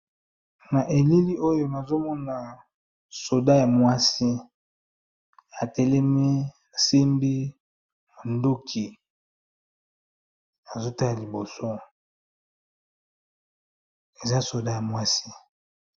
Na elili oyo nazo mona soda ya mwasi, atelemi asimbi mandoki azo tala liboso eza soda ya mwasi.